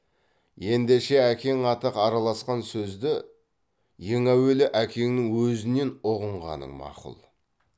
ендеше әкең аты араласқан сөзді ең әуелі әкеңнің өзінен ұғынғаның мақұл